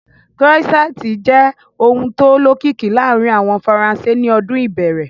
Croissant jẹ́ oúnjẹ tó lókìkí láàárín àwọn Faransé ní ọdún ìbẹ̀rẹ̀